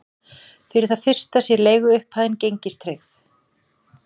Fyrir það fyrsta sé leiguupphæðin gengistryggð